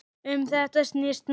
Um þetta snýst málið.